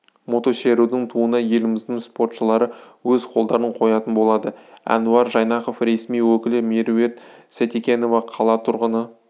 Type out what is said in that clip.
мотошерудің туына еліміздің спортшылары өз қолдарын қоятын болады әнуар жайнақов ресми өкілі меруерт сейтекенова қала тұрғыны